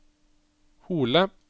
Hole